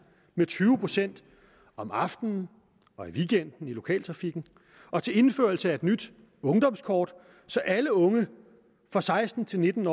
med tyve procent om aftenen og i weekenden i lokaltrafikken og til indførelse af et nyt ungdomskort så alle unge seksten til nitten